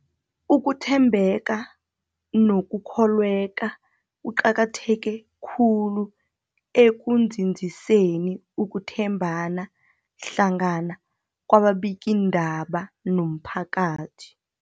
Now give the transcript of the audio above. Ukuthembeka nokukholweka kuqakatheke khulu ekunzinziseni ukuthembana hlangana kwababikiindaba nomphakathi.